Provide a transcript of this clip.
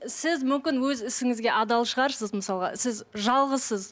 сіз мүмкін өз ісіңізге адал шығарсыз мысалға сіз жалғызсыз